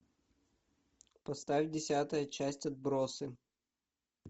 поставь десятая часть отбросы